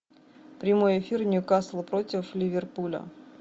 прямой эфир ньюкасл против ливерпуля